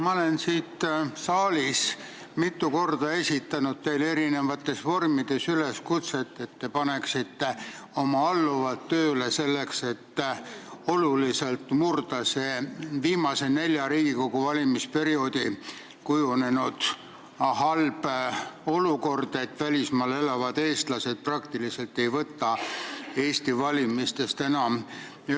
Ma olen siit saalist mitu korda esitanud teile eri vormis üleskutset, et te paneksite oma alluvad tööle selleks, et oluliselt muuta viimase nelja Riigikogu valimisperioodil kujunenud halba olukorda, et välismaal elavad eestlased praktiliselt ei võta Eesti valimistest enam osa.